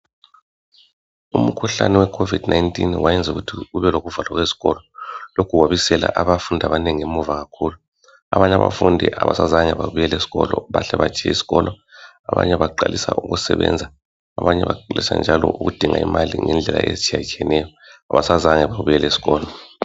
Umkhuhlane we COVID 19 wayenzukuthi kubelokuvalwa kwezikolo. Lokhu kwabisela abafundi abanengi emuva kakhulu ,abanye abafundi abasazange babuyela esikolo. Bahle batshiya isikolo ,abanye baqalisa ukusebenza, abanye baqalisa njalo ukudinga imali ngendlela ezitshiyatshiyeneyo. Abasazange babuyele esikolo .